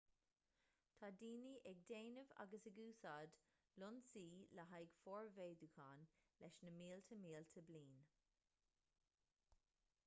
tá daoine ag déanamh agus ag úsáid lionsaí le haghaidh formhéadúcháin leis na mílte mílte bliain